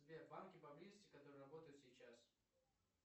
сбер банки поблизости которые работают сейчас